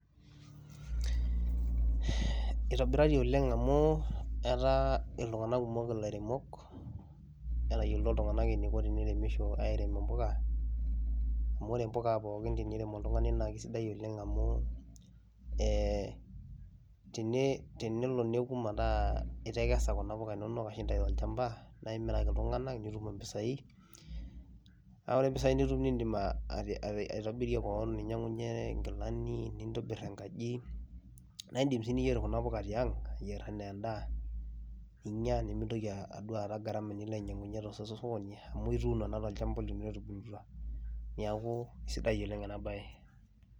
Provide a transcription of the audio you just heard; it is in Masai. It is done well because many people are farmers nowadays. Planting of this sukuma wiki helps one because when you harvest you can sell to people and get money. And the money you get you can use to help yourself by buying good clothes decorating your house and you can also cook this vegetable at home and avoid gharama of buying it again in the market so it is so good.